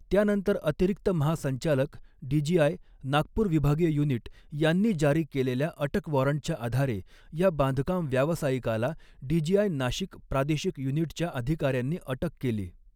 त्यानंतर अतिरिक्त महासंचालक, डीजीआय, नागपूर विभागीय युनिट यांनी जारी केलेल्या अटक वॊरंटच्या आधारे या बांधकाम व्यावसायिकाला, डीजीआय, नाशिक प्रादेशिक युनिटच्या अधिकाऱ्यांनी अटक केली.